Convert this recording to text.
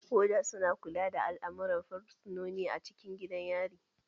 Woda su na kula da al'amuran fursunoni a cikin gidan yari.